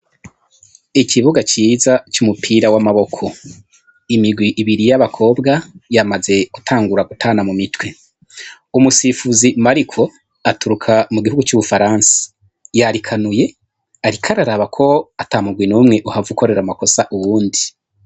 Ikibuga ciza c'umupira w'amaboko, imigwi ibiri y'abakobwa yamaze gutangura gutana mu mitwe, umusifuzi Mariko aturuka mu gihugu c'Ubufaransa yarikanuye, ariko araraba ko ata mugwi n'umwe uhava ukorero amakosa uwundi.